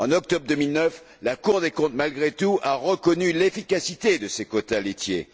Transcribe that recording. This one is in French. En octobre 2009, la Cour des comptes a, malgré tout, reconnu l'efficacité de ces quotas laitiers.